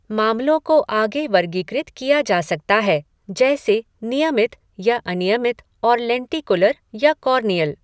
मामलों को आगे वर्गीकृत किया जा सकता है, जैसे नियमित या अनियमित और लेंटिकुलर या कॉर्नियल।